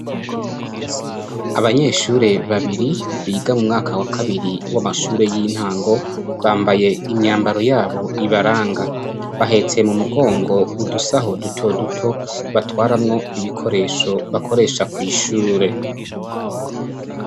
Abanyeshure babiri biga mu mwaka wa kabiri w'amashuri y'intango bambaye imyambaro yabo ibaranga, bahetsee mu mugongo udusaho duto duto batwaramwo ibikoresho bakoresha kw'ishure.